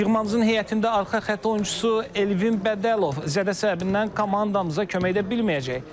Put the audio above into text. Yığmamızın heyətində arxa xətt oyunçusu Elvin Bədəlov zədəsindən komandamıza kömək edə bilməyəcək.